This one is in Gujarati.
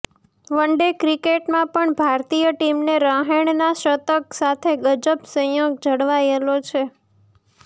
વન ડે ક્રિકેટમાં પણ ભારતીય ટીમને રહાણેના શતક સાથે ગજબ સંયોગ જળવાયેલો છે